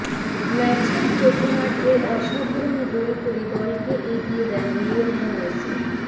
ম্যাচের প্রথমার্ধেই অসাধারণ গোল করে দলকে এগিয়ে দেন লিওনেল মেসি